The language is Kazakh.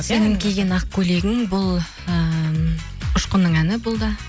сенің киген ақ көйлегің бұл ыыы ұшқынның әні бұл да